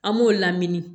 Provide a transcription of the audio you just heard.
An b'o lamini